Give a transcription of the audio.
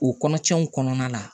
O kɔnɔtiɲɛw kɔnɔna la